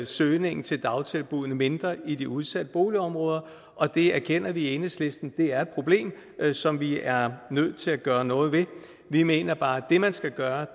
søgningen til dagtilbuddene mindre i de udsatte boligområder og det erkender vi i enhedslisten er et problem som vi er nødt til at gøre noget ved vi mener bare at det man skal gøre